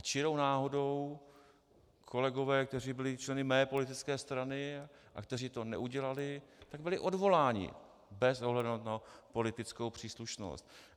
A čirou náhodou kolegové, kteří byli členy mé politické strany a kteří to neudělali, tak byli odvoláni bez ohledu na politickou příslušnost.